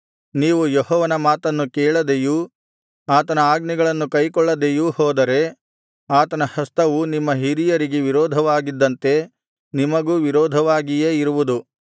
ನೀವು ಯೆಹೋವನ ಮಾತನ್ನು ಕೇಳದೆಯೂ ಆತನ ಆಜ್ಞೆಗಳನ್ನು ಕೈಕೊಳ್ಳದೆಯೂ ಹೋದರೆ ಆತನ ಹಸ್ತವು ನಿಮ್ಮ ಹಿರಿಯರಿಗೆ ವಿರೋಧವಾಗಿದ್ದಂತೆ ನಿಮಗೂ ವಿರೋಧವಾಗಿಯೇ ಇರುವುದು